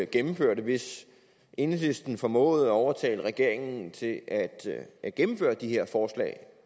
gennemføre det hvis enhedslisten formåede at overtale regeringen til at at gennemføre de her forslag